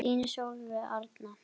Þín Sólveig Arna.